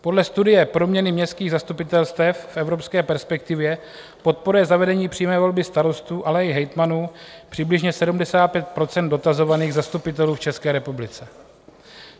Podle studie Proměny městských zastupitelstev v evropské perspektivě podporuje zavedení přímé volby starostů, ale i hejtmanů přibližně 75 % dotazovaných zastupitelů v České republice.